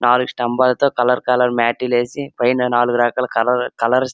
నాలుగు స్తంభాలతో colour colour మాటి లు ఏసి పైన నాలుగు రకాల కలర్ కలర్స్ --